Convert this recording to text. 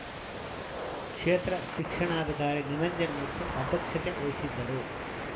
ಕ್ಷೇತ್ರ ಶಿಕ್ಷಣಾಧಿಕಾರಿ ನಿರಂಜನಮೂರ್ತಿ ಅಧ್ಯಕ್ಷತೆ ವಹಿಸಿದ್ದರು